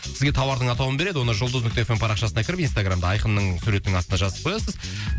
сізге тауардың атауын береді оны жұлдыз нүкте эф эм парақшасына кіріп инстаграмда айқынның суретінің астына жазып қоясыз